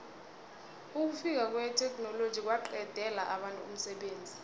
ukufika kwetheknoloji kwaqedela abantu umsebenzi